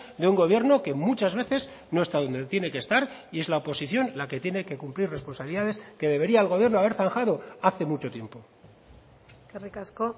de un gobierno que muchas veces no está donde tiene que estar y es la oposición la que tiene que cumplir responsabilidades que debería el gobierno haber zanjado hace mucho tiempo eskerrik asko